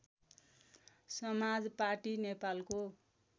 समाज पाटी नेपालको